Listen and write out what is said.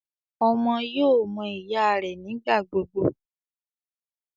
Ọmọ yóò mọ ìyá rẹ nigbagbogbo